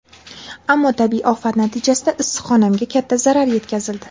Ammo tabiiy ofat natijasida issiqxonamga katta zarar yetkazildi.